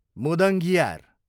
मुदङ्गियार